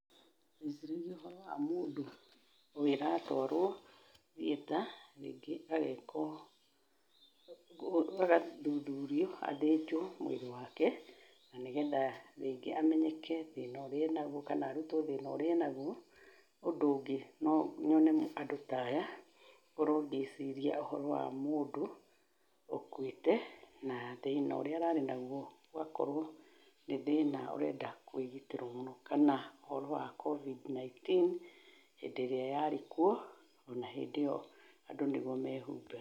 Ngũĩciragia ũhoro wa mũndũ ũyũ ũratwarwo thieta, rĩngĩ agekwo agathuthurio, athĩnjwo mwĩrĩ wake na nĩgetha rĩngĩ amenyeke thĩna ũrĩa enaguo kana arutwo thĩna ũrĩa enaguo. Ũndũ ũngĩ, no nyone andũ ta aya ngorwo ngĩciria ũhoro wa mũndũ ũkuĩte, na thĩna ũrĩa ararĩ naguo ũgakorwo nĩ thĩna ũrenda kwĩgitĩrwo mũno, kana ũhoro wa Covid 19, hĩndĩ ĩrĩa yarĩ kuo, o na hĩndĩ ĩyo andũ nĩguo mehumbaga.